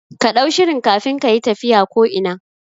Kaɗau shirin kafin kayi tafiya ko ina